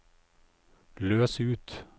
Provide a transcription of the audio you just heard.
løs ut